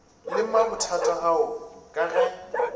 le mabothata ao ka ge